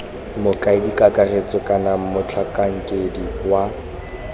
mokaedi kakaretso kana motlhankedi wa